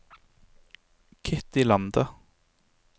Kitty Lande